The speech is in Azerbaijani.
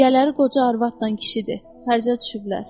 Yiyələri qoca arvadla kişidir, xərcə düşüblər.